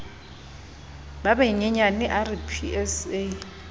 ba banyenyane a re psa